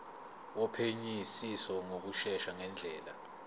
wophenyisiso ngokushesha ngendlela